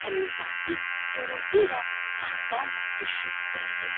Həmin saat div gurultu ilə taxtdan düşüb öldü.